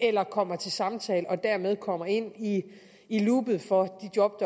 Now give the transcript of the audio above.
eller kommer til samtale og dermed kommer ind i i loopet for de job